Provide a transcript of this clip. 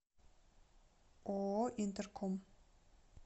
ооо интерком